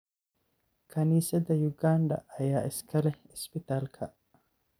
Kaniisadda Uganda ayaa iska leh isbitaalka.